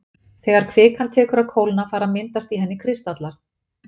þegar kvikan tekur að kólna fara að myndast í henni kristallar